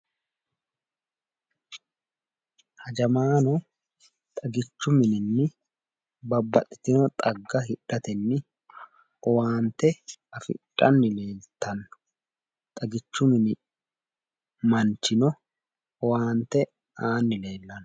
Hajamaano xagichu mininni babbaxxitino xagga hidhatenni owaante afidhanni noota xagichu mini manchino owaante aanni leellanno.